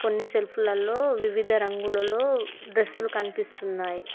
న్ని సెల్పు లల్లో వివిధ రంగులలో డ్రస్సు లు కనిపిస్తున్నాయి.